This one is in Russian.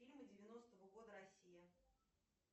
фильмы девяностого года россия